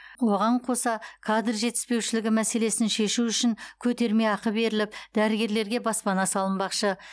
оған қоса кадр жетіспеушілігі мәселесін шешу үшін көтерме ақы беріліп дәрігерлерге баспана салынбақшы